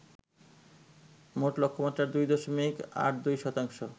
মোট লক্ষ্যমাত্রার ২ দশমিক ৮২ শতাংশ